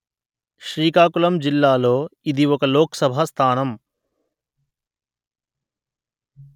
శ్రీకాకుళం జిల్లాలో ఇది ఒక లోక్‌సభ స్థానము